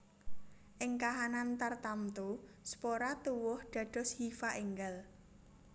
Ing kahanan tartamtu spora tuwuh dados hifa énggal